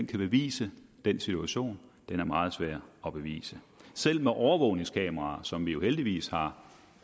kan bevise den situation den er meget svær at bevise selv med overvågningskameraer som vi jo heldigvis har